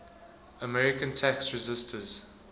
american tax resisters